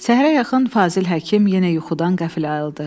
Səhərə yaxın Fazil Həkim yenə yuxudan qəflə ayıldı.